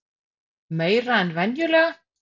Meira en venjulega?